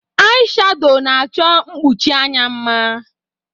Ai shadọ na-achọ mkpuchi anya mma.